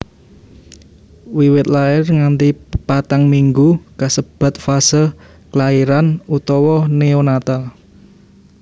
Wiwit lair nganti patang minggu kasebat fase klairan utawa neonatal